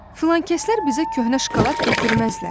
Filankəslər bizə köhnə şokolad gətirməzlər.